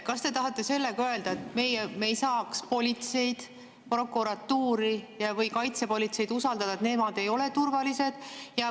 Kas te tahate sellega öelda, et me ei saaks politseid, prokuratuuri või kaitsepolitseid usaldada, et nemad ei ole turvalised?